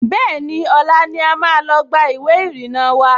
Bẹ́ẹ̀ni, ọ̀la ni a máa lọ gba ìwé ìrìnnà wa